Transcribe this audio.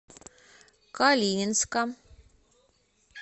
калининска